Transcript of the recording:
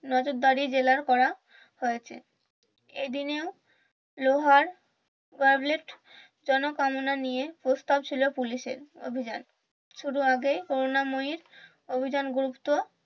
নজরদরি জেরা করা হয়েছে এই দিনেও লোহার জলকামনা নিয়ে প্রস্তাব ছিল পুলিশের অভিযান শুধু আগেই কোরুনা ময়ীর অভিযান গুরুত্ব